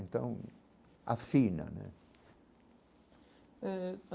Então, afina né eh.